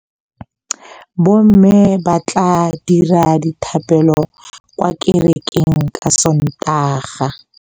Bommê ba tla dira dithapêlô kwa kerekeng ka Sontaga.